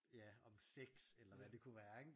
Ja om sex eller hvad det kunne være ikke